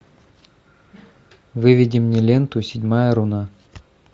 выведи мне ленту седьмая руна